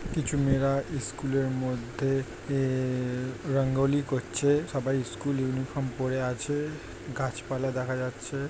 কিছু মেয়েরা স্কুল এর মধ্যে এএএ রঙ্গোলি করছে সবাই স্কুল ইউনিফর্ম পড়ে আছে গাছপালা দেখা যাচ্ছে।